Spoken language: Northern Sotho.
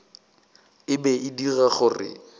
e be e dira gore